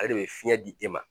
Ale de bɛ fiɲɛ di e ma